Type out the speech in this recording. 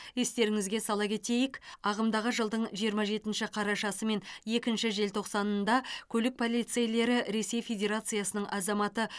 естеріңізге сала кетейік ағымдағы жылдың жиырма жетінші қарашасы мен екінші желтоқсанында көлік полицейлері ресей федерациясының азаматы